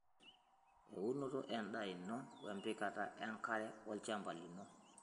Eunoto endaa ino, empikata enkara olchamba lino.